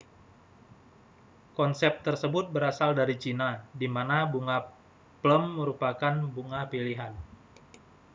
konsep tersebut berasal dari china di mana bunga plum merupakan bunga pilihan